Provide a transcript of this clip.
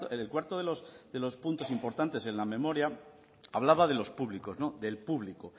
el cuarto de los puntos importantes en la memoria hablaba de los públicos del público